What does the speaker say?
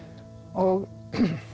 og